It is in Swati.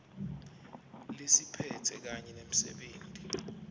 lesiphetse kanye nemsebenti